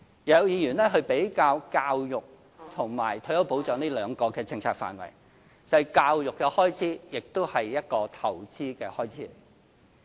有議員比較教育和退休保障這兩個政策範圍，教育的開支也是一個投資的開支。